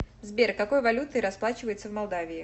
сбер какой валютой расплачиваются в молдавии